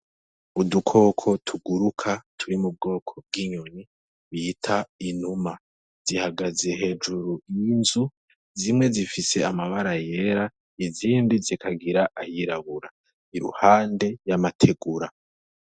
Udukoko tuguruka turi mu bwoko bw'inyoni bita inuma zihagaze hejuru y'inzu zimwe zifise amabara yera izindi zikagira ayirabura iruhande y'amategura.